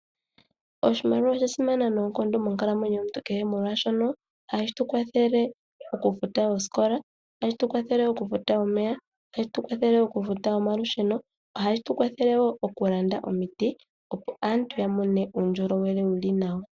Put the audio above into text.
Oshimaliwa osha simana noonkondo monkalamwenyo yomuntu kehe molwaashono, ohashi tu kwathele okufuta oosikola, okufuta omeya okufuta omalusheno, noshowo okulanda omiti opo aantu ya mone uundjolowele wuli nawa..